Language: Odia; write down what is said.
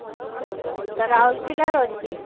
ଏବେ ମୁଁ ତ ରାଉରକେଲା ରେ ଅଛି।